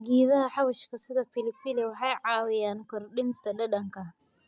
Geedaha xawaashka sida pilipili waxay caawiyaan kordhinta dhadhanka.